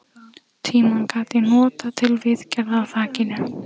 Tímann gat ég notað til viðgerða á þakinu.